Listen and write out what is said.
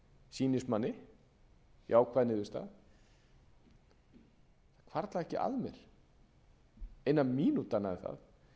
sýnist manni jákvæð niðurstaða það hvarflar ekki að mér eina mínútu annað en það að